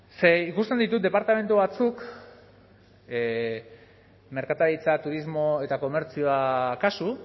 ze ikusten ditut departamendu batzuk merkataritza turismo eta komertzioa kasu